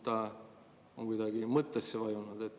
Ta on kuidagi mõttesse vajunud.